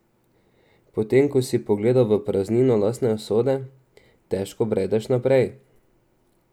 Potem ko si pogledal v praznino lastne usode, težko bredeš naprej.